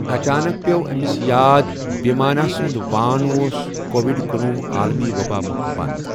اَچانک پیوٚو أمِس یاد، بِھمانا سُنٛد وان اوس کووِڈ کنۄہُ عالمی وَباہ مۄخہٕ بنٛد۔